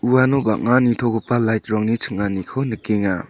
uano bang·a nitogipa lait rangni ching·aniko nikenga.